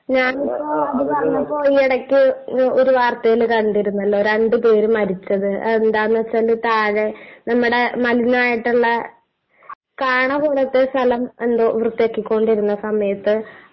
ഞാനിപ്പോ...അത് പറഞ്ഞപ്പോ...ഈ ഇടയ്ക്ക് ഒരു വാർത്തയിൽ കണ്ടിരുന്നല്ലോ, രണ്ടുപേര് മരിച്ചത്.അതെന്താ നു വച്ചാല് താഴെ നമ്മടെ മലിനമായിട്ടുള്ള കാണ പോലത്തെ സ്ഥലം എന്തോ വൃത്തിയാക്കിക്കൊണ്ടിരുന്ന സമയത്ത്...